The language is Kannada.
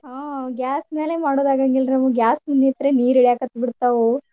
ಹ್ಮ್ gas ಮ್ಯಾಲೆ ಮಾಡೋದ್ ಆಗಾಂಗಿಲ್ರಿ ನಮಗ್ gas ಮುಂದ್ ನಿತ್ರೆ ನೀರ ಇಳ್ಯಾಕತ್ತ್ ಬಿಡ್ತಾವು.